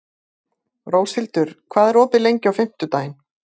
Róshildur, hvað er opið lengi á fimmtudaginn?